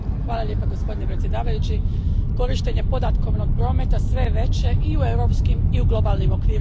Gospodine predsjedniče, korištenje podatkovnog prometa sve je veće i u europskim i u globalnim okvirima.